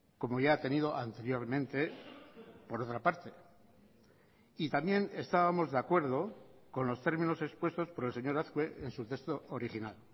como ya ha tenido anteriormente por otra parte y también estábamos de acuerdo con los términos expuestos por el señor azkue en su texto original